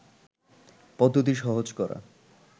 পদ্ধতি সহজ করা